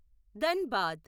Dhanbad